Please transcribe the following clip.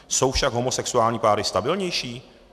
Jsou však homosexuální páry stabilnější?